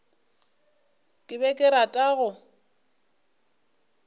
ke be ke rata go